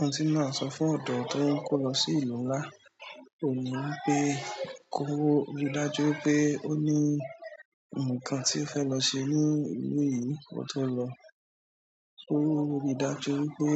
Ọ́hun ti ma so maa fún ọ̀dọ́ to n kó lọ sí ìlú ńlá, òun ní wipé kó rí i dájú pé ó ní ǹkan tí ó fẹ́ lọ ṣe ní ìlú yìí ki o tó lọ. Ko rí i dájú pé